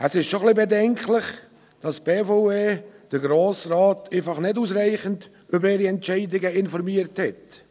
Es ist schon ein bisschen bedenklich, dass die BVE den Grossen Rat einfach nicht ausreichend über ihre Entscheidungen informiert hat.